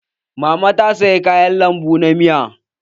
Mama ta saya kayan lambu na miya.